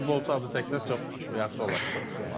Beş futbolçu adı çəksən çox yaxşı olar.